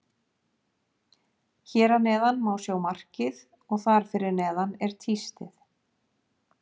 Hér að neðan má sjá markið og þar fyrir neðan er tístið.